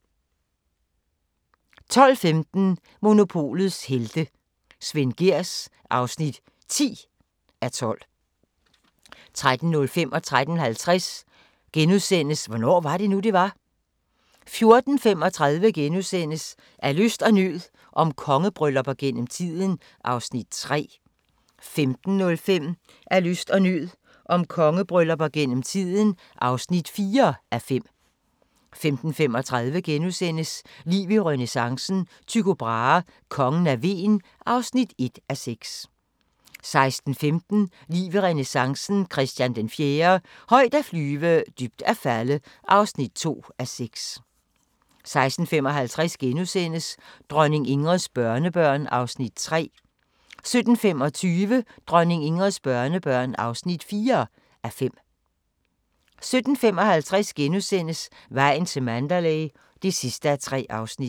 12:15: Monopolets helte - Svend Gehrs (10:12) 13:05: Hvornår var det nu, det var? * 13:50: Hvornår var det nu, det var? 14:35: Af nød og lyst – om kongebryllupper gennem tiden (3:5)* 15:05: Af nød og lyst – om kongebryllupper gennem tiden (4:5) 15:35: Liv i renæssancen – Tycho Brahe: Kongen af Hven (1:6)* 16:15: Liv i renæssancen – Christian IV - højt at flyve, dybt at falde (2:6) 16:55: Dronning Ingrids børnebørn (3:5)* 17:25: Dronning Ingrids børnebørn (4:5) 17:55: Vejen til Mandalay (3:3)*